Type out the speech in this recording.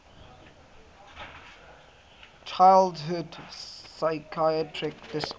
childhood psychiatric disorders